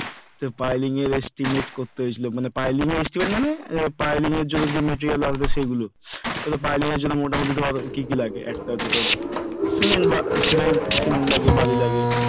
Piling এর estimate করতে হয়েছিল, piling এর estimate মানে piling এর জন্য যে material আসবে piling এর জন্য মোটামুটি ধর কি লাগে সিমেন্ট লাগে বালি লাগে,